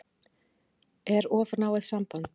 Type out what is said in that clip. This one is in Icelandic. Er of náið samband?